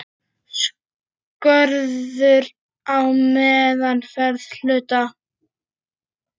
Skorður á meðferð hluta.